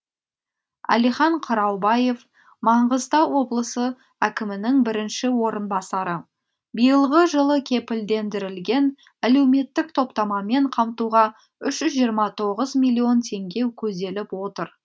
әлихан қыраубаев маңғыстау облысы әкімінің бірінші орынбасары биылғы жылы кепілдендірілген әлеуметтік топтамамен қамтуға үш жүз жиырма тоғыз миллион теңге көзделіп отыр